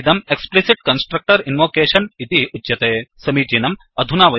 इदं explicit constructor invocationएक्स्प्लिसिट् constructor invocation इति उच्यते